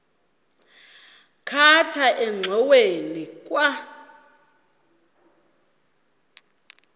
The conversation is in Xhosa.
khatha engxoweni kwa